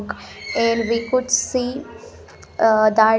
And we could see ah that--